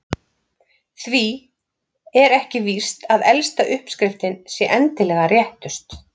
því er ekki víst að elsta uppskriftin sé endilega réttust